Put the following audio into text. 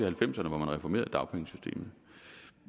halvfemserne hvor man reformerede dagpengesystemet